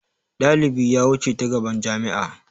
Dalibi ya wuce ta gaban jami'a.